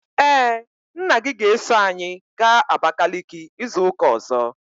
Ee, nna gị ga-eso anyị gaa Abakaliki izu ụka ọzọ.